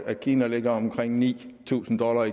at kina ligger omkring ni tusind dollar